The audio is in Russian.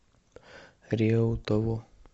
реутову